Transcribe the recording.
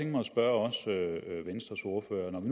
mig at spørge venstres ordfører om